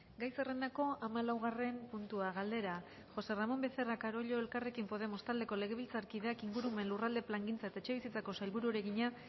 gai zerrendako hamalaugarren puntua galdera josé ramón becerra carollo elkarrekin podemos taldeko legebiltzarkideak ingurumen lurralde plangintza eta etxebizitzako sailburuari egina